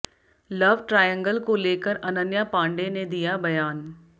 love triangle को लेकर अनन्या पांडेय ने दिया बयान